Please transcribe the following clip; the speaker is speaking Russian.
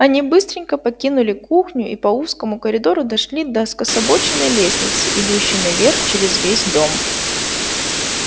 они быстренько покинули кухню и по узкому коридору дошли до скособоченной лестницы идущей наверх через весь дом